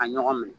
A ɲɔgɔn minɛ